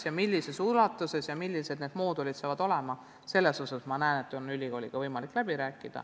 Missugused need moodulid saavad olema, selle üle on loodetavasti ülikooliga võimalik läbi rääkida.